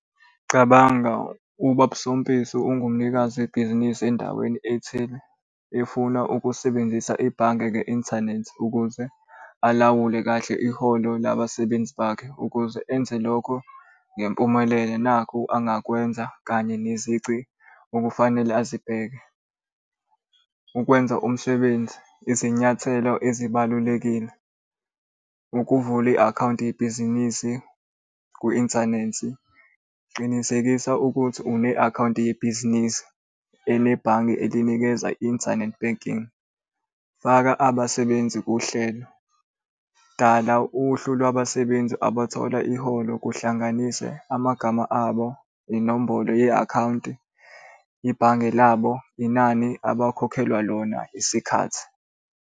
Cabanga ubaba uSompisi ungumnikazi webhizinisi endaweni ethile efuna ukusebenzisa ibhange nge-inthanethi ukuze alawule kahle iholo labasebenzi bakhe ukuze enze lokhu ngempumelelo nakhu angakwenza kanye nezici okufanele azibheke. Ukwenza umsebenzi, izinyathelo ezibalulekile, ukuvula i-akhawunti, ibhizinisi ku-inthanethi. Qinisekisa ukuthi une-akhawunti yebhizinisi enebhange elinikeza internet banking. Faka abasebenzi kuhlelo, dala uhlu lwabasebenzi abathola iholo kuhlanganise amagama abo nenombolo ye-akhawunti, ibhange labo, inani abakhokhelwa lona isikhathi.